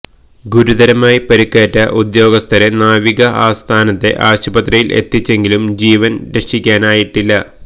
ഗുരുതരമായി പരിക്കേറ്റ ഉദ്യോഗസ്ഥരെ നാവിക ആസ്ഥാനത്തെ ആശുപത്രിയില് എത്തിച്ചെങ്കിലും ജീവന് രക്ഷിക്കാനായിട്ടില്ല